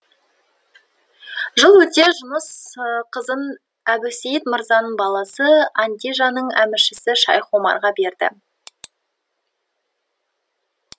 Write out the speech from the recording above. жыл өте жұныс қызын әбусейіт мырзаның баласы андижанның әміршісі шайх омарға берді